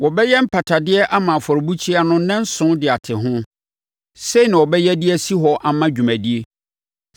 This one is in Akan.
Wɔbɛyɛ mpatadeɛ ama afɔrebukyia no nnanson de ate ho; sei na wɔbɛyɛ de asi hɔ ama dwumadie.